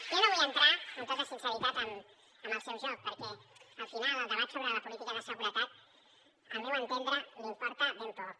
jo no vull entrar amb tota sinceritat en el seu joc perquè al final el debat sobre la política de seguretat al meu entendre li importa ben poc